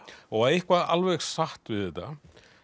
og eitthvað alveg satt við þetta